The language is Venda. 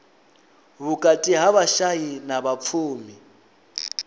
vhukati ha vhashai na vhapfumi